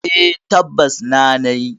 Eh, tabbas na nayi.